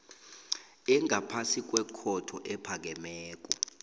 engaphasi kwekhotho ephakemeko